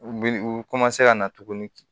U mi u ka na tuguni